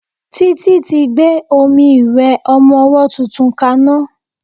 Títí tí gbé omi ìwẹ̀ ọmọ ọwọ́ tuntun ka ná.